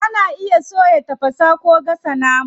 Ana iya soya, tafasa, ko gasa nama.